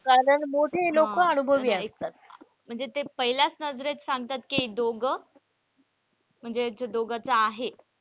कारण मोठे लोक अनुभवी असतात म्हणजे ते पहिल्याच नजरेत सांगतात कि दोघे म्हणजे ह्या दोघंच आहे.